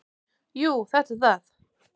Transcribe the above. """Jú, þetta er það."""